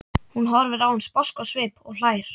Hún horfir á hann sposk á svip og hlær.